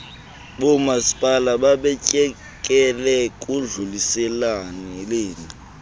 boomasipala babetyekele ekudluliseleni